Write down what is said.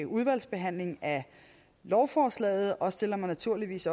udvalgsbehandling af lovforslaget og stiller mig naturligvis